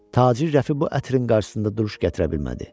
Tacir Rəfi bu ətrin qarşısında duruş gətirə bilmədi.